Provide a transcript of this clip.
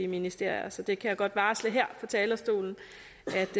ministerier så det kan jeg godt varsle her fra talerstolen